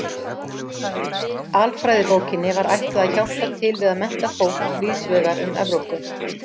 Alfræðibókinni var ætlað að hjálpa til við að mennta fólk víðs vegar um Evrópu.